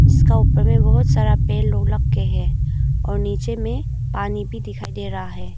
इसका ऊपर में बहुत सारा पेड़ लोग लगके हैं और नीचे में पानी भी दिखाई दे रहा है।